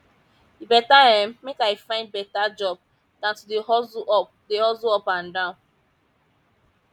e beta um make i find beta job dan to dey hustle up dey hustle up and down